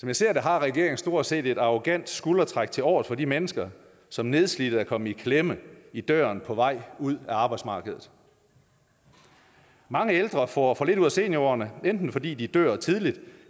jeg ser det har regeringen stort set blot et arrogant skuldertræk tilovers for de mennesker som nedslidte er kommet i klemme i døren på vej ud af arbejdsmarkedet mange ældre får for lidt ud af seniorårene enten fordi de dør tidligt